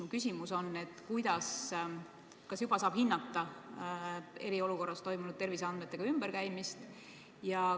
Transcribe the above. Mu küsimus on, kas juba saab hinnata eriolukorras toimunud terviseandmetega ümberkäimist.